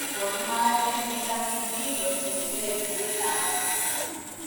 Konu magatet vitamin D kotien gee uet ab asista